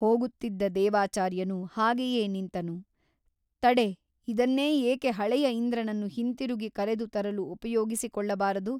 ಹೋಗುತ್ತಿದ್ದ ದೇವಾಚಾರ್ಯನು ಹಾಗೆಯೇ ನಿಂತನು ತಡೆ ಇದನ್ನೇ ಏಕೆ ಹಳೆಯ ಇಂದ್ರನನ್ನು ಹಿಂತಿರುಗಿ ಕರೆದು ತರಲು ಉಪಯೋಗಿಸಿ ಕೊಳ್ಳಬಾರದು!